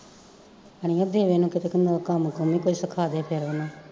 ਅੜੀਏ ਦੇਵੇ ਨੂੰ ਕਿਤੇ ਕਿੰਨਾ ਕੁ ਕੰਮ ਕੁਮ ਕੋਈ ਸਿਖਾਂਦੇ ਤੇਰਾ ਨਾ